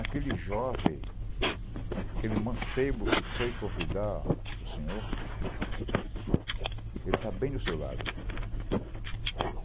Aquele jovem, aquele mancebo que foi convidar o senhor, ele está bem do seu lado.